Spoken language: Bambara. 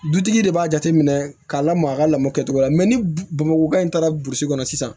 Dutigi de b'a jateminɛ k'a lamaga a ka lamɔ kɛcogo la ni bamakɔ in taara burusi kɔnɔ sisan